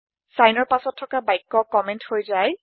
চাইনৰ পাছত থকা বাক্য কম্মেন্ট হৈ যায়